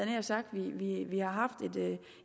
nær sagt vi vi har haft